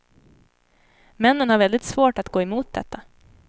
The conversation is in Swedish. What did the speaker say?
Männen har väldigt svårt att gå emot detta.